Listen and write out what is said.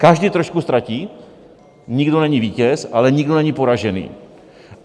Každý trošku ztratí, nikdo není vítěz, ale nikdo není poražený.